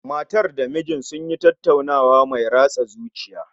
Matar da mijin sun yi tattaunawa mai ratsa zuciya